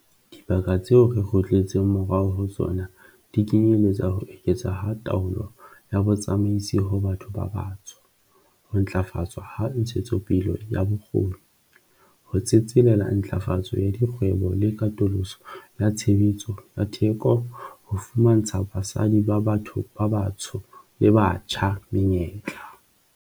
Dibaka tseo re kgutletseng morao ho tsona di kenyeletsa ho eketswa ha taolo ya botsamaisi ho batho ba batsho, ho ntlafatswa ha ntshetsopele ya bokgoni, ho tsetselela ntlafatso ya dikgwebo le katoloso ya tshebetso ya theko ho fumantsha basadi ba batho ba batsho le batjha menyetla.